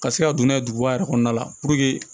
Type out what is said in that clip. Ka se ka don n'a ye duguba yɛrɛ kɔnɔna la